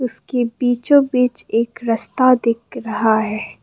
इसके बीचो बीच एक रस्ता दिख रहा है।